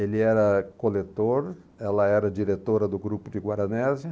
Ele era coletor, ela era diretora do grupo de Guaranésia.